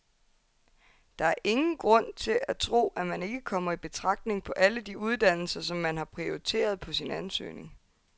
Der er ingen grund til at tro, at man ikke kommer i betragtning på alle de uddannelser, som man har prioriteret på sin ansøgning.